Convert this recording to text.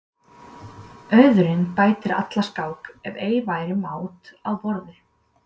Auðurinn bætir alla skák ef ei væri mát á borði.